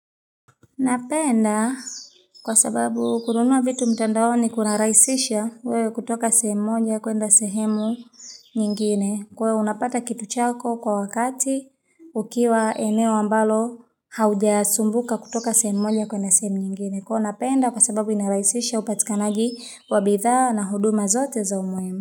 Napenda kwa sababu kununua vitu mtandao ni kunaraisisha kutoka sehemu nyingine kwa unapata kitu chako kwa wakati ukiwa eneo ambalo haujasumbuka kutoka sehemu nyingine kwa unapenda kwa sababu inaraisisha upatikanagi wabitha na huduma zote za umoema.